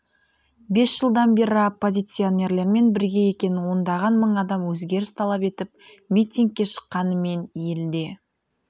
бес жылдан бері оппозиционерлермен бірге екенін ондаған мың адам өзгеріс талап етіп митингке шыққанымен елде